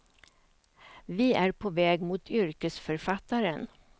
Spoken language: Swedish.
Vi är på väg mot yrkesförfattaren.